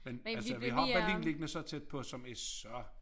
Men altså vi har Berlin liggende så tæt på som er så